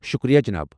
شُکریہ، جِناب۔